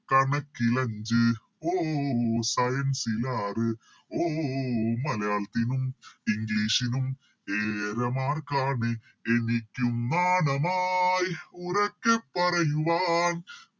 കണക്കിലഞ്ച് ഓ ഓ ഓ Science ൽ ആറ് ഓ ഓ ഓ മലയാളത്തിനും English നും ഏഴര Mark ആണ് എനിക്കും നാണമായ് ഉറക്കെ പറയുവാൻ